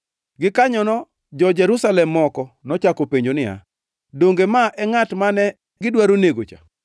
Gikanyono jo-Jerusalem moko nochako penjo niya, “Donge ma e ngʼat mane gidwaro nego cha?